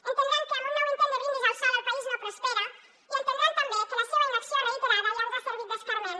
entendran que amb un nou intent de brindis al sol el país no prospera i entendran també que la seva inacció reiterada ja ens ha servit d’escarment